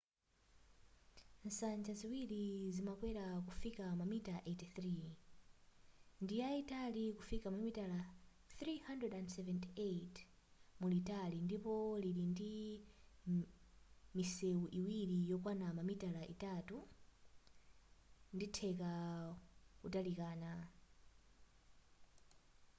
nsanja ziwiri zimakwera kufika mamita 83 ndiyayitali kufika mamita 378 mulitali ndipo ili ndi misewu iwiri yokwana mamita itatu nditheka kutalikana